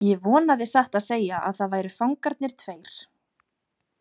Ég vonaði satt að segja að það væru fangarnir tveir.